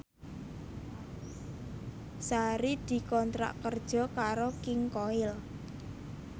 Sari dikontrak kerja karo King Koil